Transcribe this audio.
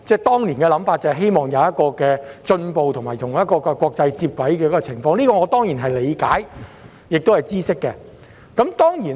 當年的想法是希望能有進步和與國際接軌，我對此當然理解和知悉。